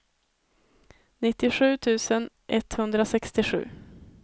nittiosju tusen etthundrasextiosju